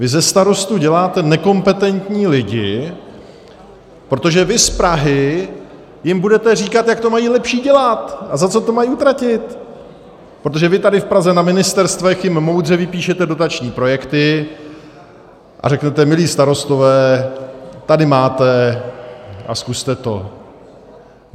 Vy ze starostů děláte nekompetentní lidi, protože vy z Prahy jim budete říkat, jak to mají lépe dělat a za co to mají utratit, protože vy tady v Praze na ministerstvech jim moudře vypíšete dotační projekty a řeknete "milí starostové, tady máte a zkuste to".